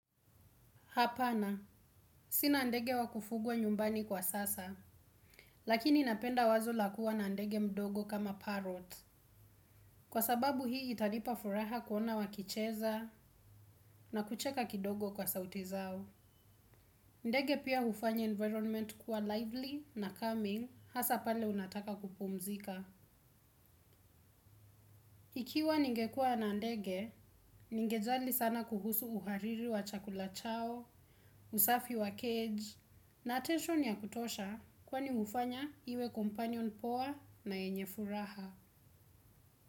Hapana sina ndege wakufugwa nyumbani kwa sasa lakini napenda wazo la kuwa na ndege mdogo kama parrot. Kwa sababu hii itanipa furaha kuona wakicheza na kucheka kidogo kwa sauti zao. Ndege pia hufanya environment kuwa lively na calming hasa pale unataka kupumzika. Ikiwa ningekuwa na ndege, ningejali sana kuhusu uhariri wa chakula chao, usafi wa cage na attention ya kutosha kwani hufanya iwe companion poa na yenye furaha.